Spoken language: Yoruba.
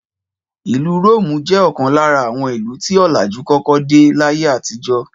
Ìlú Róòmù jẹ́ ọ̀kan lára àwọn ìlú tí ọlàjú kọ́kọ́ dé láyé àtijó